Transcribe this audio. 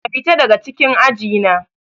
Ka fita daga cikin aji na.